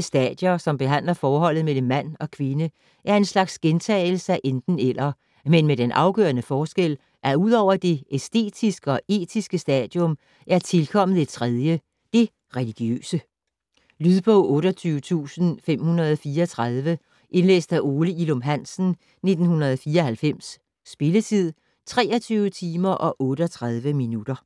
"stadier", som behandler forholdet mellem mand og kvinde, er en slags gentagelse af "Enten-eller", men med den afgørende forskel, at ud over det æstetiske og etiske stadium er tilkommet et tredie: det religiøse. Lydbog 28534 Indlæst af Ole Ilum Hansen, 1994. Spilletid: 23 timer, 38 minutter.